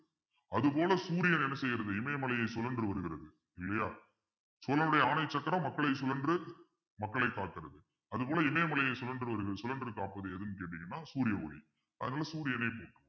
அது போல சூரியன் என்ன செய்கிறது இமயமலையை சுழன்று வருகிறது இல்லையா சோழனுடைய ஆணை சக்கரம் மக்களை சுழன்று மக்களை பார்க்கிறது அது போல இமயமலையை சுழன்று ஒரு சுழன்று காப்பது எதுன்னு கேட்டீங்கன்னா சூரிய ஒளி அதனால சூரியனை போற்றும்